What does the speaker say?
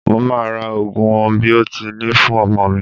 Mo máa ra Ògùn biotínì fún ọmọ mi.